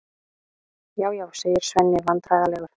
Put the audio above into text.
Já, já, segir Svenni vandræðalegur.